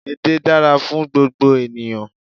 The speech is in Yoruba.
Edé dára fún gbogbo ènìyàn